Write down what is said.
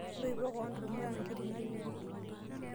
Intoipo kewon to ormuranketi natito.